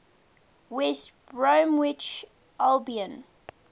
west bromwich albion